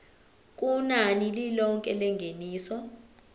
kunani lilonke lengeniso